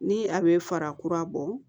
Ni a be fara kura bɔ